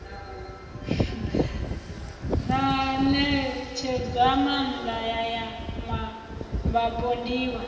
na ṋetshedzomaanda ya ya vhapondiwa